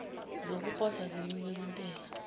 zokuposa zincike kwintela